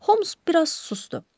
Holms biraz susdu.